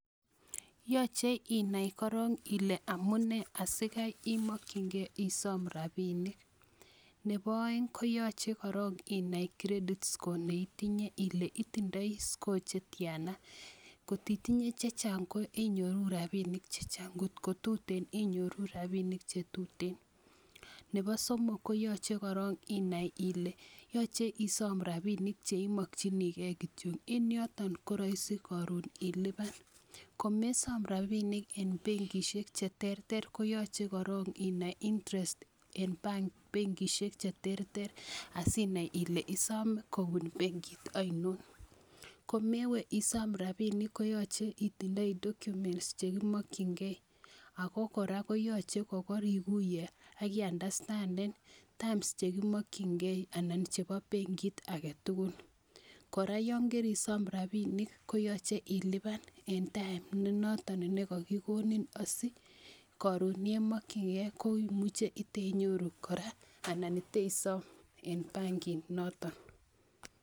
yoche inai korong ile amune asigai imokyigen isom rabinik, nepo oeng ko yoche korong inai credit score neitinye ile itindoi score netiana, kot itinye chechang ko inyoru rabinik chechang ing'ot ko tuten inai kile inyoru rabinik chetuten, nepo somok ko yoche korong inai kole yoche isom rabinik cheimokyinigen kityok en yoton koroisi koron iliban, komesom rabinik en bengisiek cheterter koyoche korong' inai interest en benkisiek cheterter asinai kole isom kobun bengit ainon, komewe isom rabinik koyoche itindoi documets chegimokyingen ago kora koyoche kokoriguye ak eunderstanden terms chegimokyingen en benkit agetugun, kora yonkerisom rabinik koyoche iliban en [cstime negogigonin asikorun yemokyigen imuche iteinyoru kora anan iteisom en benkit noton.